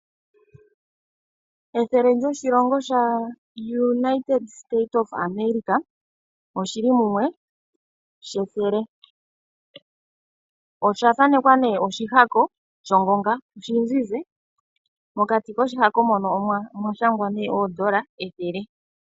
Ethele lyoshilongo sha United state of America olili mumwe. Oshimaliwa shika osha thanekwa oshihako shongonga oshizize, mokati koshihako mono omwa shangwa nee oondola ethele.